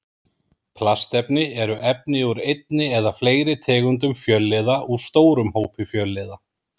Plastefni eru efni úr einni eða fleiri tegundum fjölliða úr stórum hópi fjölliða.